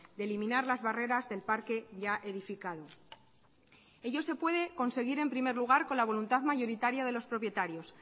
de eliminar las barreras del parque ya edificado ello se puede conseguir en primer lugar con la voluntad mayoritaria de los propietarios